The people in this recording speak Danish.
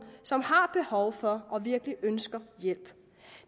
som har behov for og virkelig ønsker hjælp